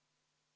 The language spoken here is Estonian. Aitäh!